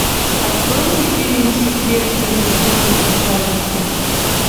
открой мне фильм секрет неприступной красавицы